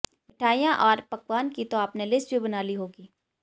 मिठाइयां अैर पकवानों की तो आपने लिस्ट भी बना ली होगी